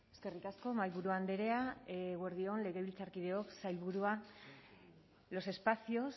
eskerrik asko mahaiburu andrea eguerdi on legebiltzarkideok sailburua los espacios